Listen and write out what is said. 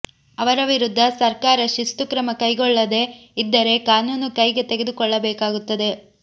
ಅವರ ವಿರುದ್ಧ ಸರ್ಕಾರ ಶಿಸ್ತು ಕ್ರಮ ಕೈಗೊಳ್ಳದೆ ಇದ್ದರೆ ಕಾನೂನು ಕೈಗೆ ತೆಗೆದುಕೊಳ್ಳಬೇಕಾಗುತ್ತದೆ